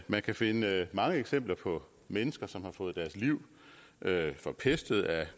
man kan finde mange eksempler på mennesker som har fået deres liv forpestet af